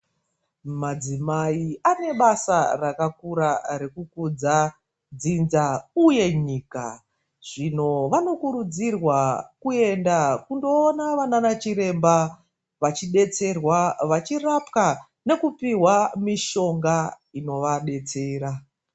Madzimai anebasa rakakura rekukudza dzinza uye nyika. Zvino vanokurudzirwa kuenda kunoona vana chiremba vachibetserwa vachirapwa nekupihwa mishonga inovabetsera.